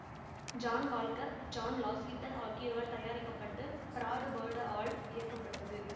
John Walker John Lasseter ஆகியோரால் தயாரிக்க பட்டு பிராடு பர்டு ஆல் இயக்கப்பட்டது